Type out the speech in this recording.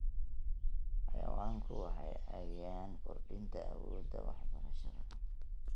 Xayawaanku waxay caawiyaan kordhinta awoodda wax-barashada.